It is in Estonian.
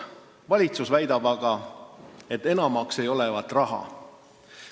Valitsus väidab aga, et enamaks ei ole raha.